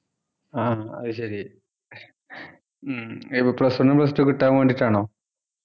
ആഹ് അത് ശരി ഉം ഇപ്പൊ plus one ഉം plus two കിട്ടാൻ വേണ്ടീട്ടാണോ